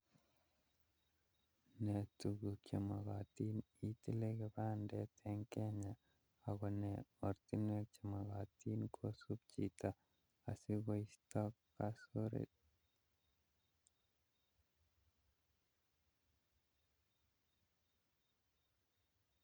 Ne tuguk chemakatin itile kipandit eng Kenya ako nee oratinwek chemakitin kosuup chito asikoisto kasoret